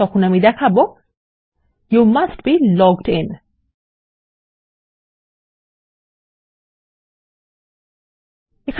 তাহলে আমি দেখাবো you must be logged in